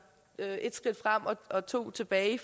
ét skridt frem og to tilbage